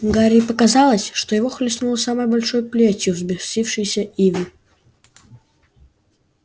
гарри показалось что его хлестнуло самой большой плетью взбесившейся ивы